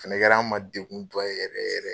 O fɛnɛ kɛl'an ma dengunba ye yɛrɛ yɛrɛ.